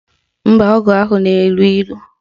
Mba, ọgwụ ahụ na-elu ilu